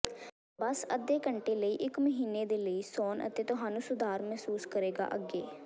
ਬਸ ਅੱਧੇ ਘੰਟੇ ਲਈ ਇੱਕ ਮਹੀਨੇ ਦੇ ਲਈ ਸੌਣ ਅਤੇ ਤੁਹਾਨੂੰ ਸੁਧਾਰ ਮਹਿਸੂਸ ਕਰੇਗਾ ਅੱਗੇ